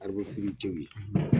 ye.